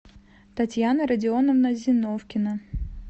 татьяна родионовна зиновкина